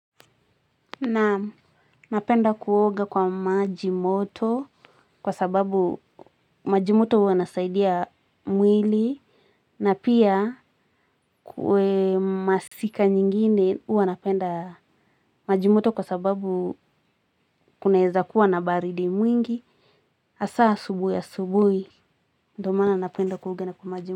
Naam, napenda kuoga kwa maji moto kwa sababu maji moto huwa inasaidia mwili. Na pia kwa masika nyingine huwa napenda maji moto kwa sababu kunaeza kuwa na baridi mwingi hasa asubuhi asubuhi ndio maana napenda kuoga na kwa maji moto.